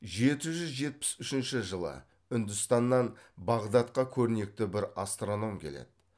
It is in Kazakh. жеті жүз жетпіс үшінші жылы үндістаннан бағдатқа көрнекті бір астроном келеді